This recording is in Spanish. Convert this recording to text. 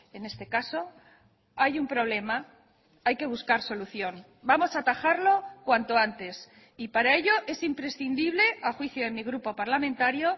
en este caso hay un problema hay que buscar solución vamos a atajarlo cuanto antes y para ello es imprescindible a juicio de mi grupo parlamentario